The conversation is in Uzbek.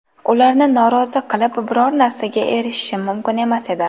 Ularni norozi qilib biror narsaga erishishim mumkin emas edi.